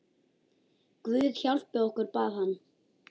Guð hjálpi okkur, bað hann.